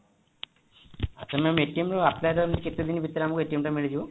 ma'am ର apply ର କେତେଦିନ ଭିତରେ ଆମକୁ ଟା ମିଳିଯିବ